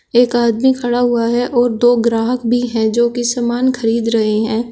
एक आदमी खड़ा हुआ है और दो ग्राहक भी है जो की समान खरीद रहे हैं।